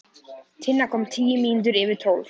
Tinna kom tíu mínútur yfir tólf.